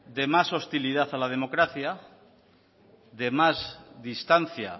de más hostilidad a la democracia de más distancia